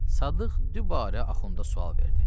Sadıq dübarə axunda sual verdi.